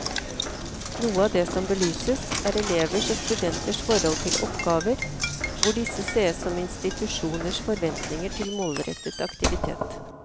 Noe av det som belyses, er elevers og studenters forhold til oppgaver, hvor disse sees som institusjoners forventninger til målrettet aktivitet.